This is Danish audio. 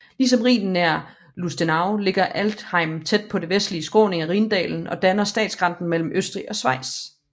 Ligesom Rhinen nær Lustenau ligger Altenrhein tæt på den vestlige skråning af Rhindalen og danner statsgrænsen mellem Østrig og Schweiz